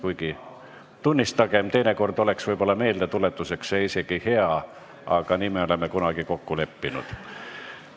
Kuigi tunnistagem, teinekord oleks see meeldetuletuseks isegi hea, aga nii me oleme kunagi kokku leppinud.